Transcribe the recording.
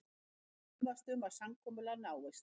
Efast um að samkomulag náist